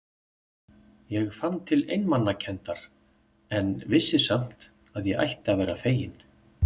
Ég fann til einmanakenndar, en vissi samt að ég ætti að vera fegin.